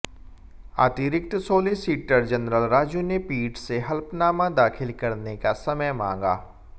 अतिरिक्त solicitor general Raju ने पीठ से हलफनामा दाखिल करने का समय मांगा